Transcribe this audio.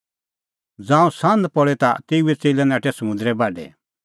ज़ांऊं सान्ह पल़ी ता तेऊए च़ेल्लै नाठै समुंदरे बाढै